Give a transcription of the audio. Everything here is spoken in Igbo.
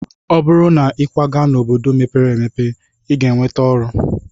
Ọ bụrụ na ịkwaga n'obodo mepere emepe, ị ga-enweta ọrụ.